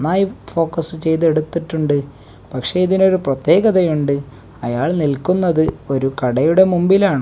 നന്നായി ഫോക്കസ് ചെയ്ത് എടുത്തിട്ടുണ്ട് പക്ഷേ ഇതിന് ഒരു പ്രത്യേകതയുണ്ട് അയാൾ നിൽക്കുന്നത് ഒരു കടയുടെ മുമ്പിലാണ്.